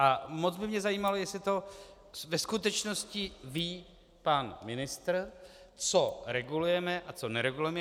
A moc by mě zajímalo, jestli to ve skutečnosti ví pan ministr, co regulujeme a co neregulujeme.